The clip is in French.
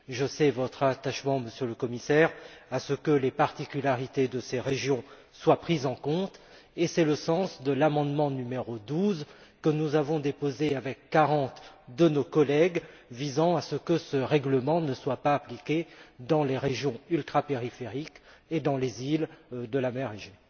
Je sais votre attachement, Monsieur le Commissaire, à ce que les particularités de ces régions soient prises en compte et c'est le sens de l'amendement n° 12, que nous avons déposé avec 40 de nos collègues, visant à ce que ce règlement ne soit pas appliqué dans les régions ultrapériphériques et dans les îles de la mer Égée.